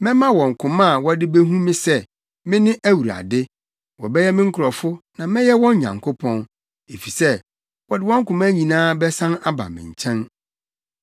Mɛma wɔn koma a wɔde behu me sɛ, me ne Awurade. Wɔbɛyɛ me nkurɔfo, na mɛyɛ wɔn Nyankopɔn, efisɛ wɔde wɔn koma nyinaa bɛsan aba me nkyɛn.